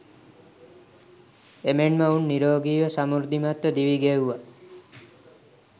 එමෙන්ම ඔවුන් නිරෝගීව සමෘද්ධිමත්ව දිවි ගෙව්වා.